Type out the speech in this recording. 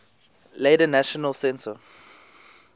later national centre